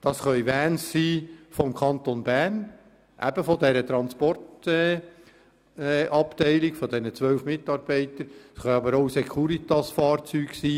Das können Vans des Kantons Bern sein, von ebendieser Transportabteilung mit den zwölf Mitarbeitern, es können aber auch Securitas-Fahrzeuge sein.